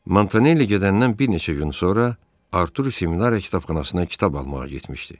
Montanelli gedəndən bir neçə gün sonra Arturi seminariya kitabxanasına kitab almağa getmişdi.